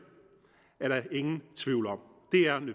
er der ingen tvivl om